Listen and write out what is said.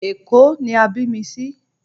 Èkó ni a bí mi sí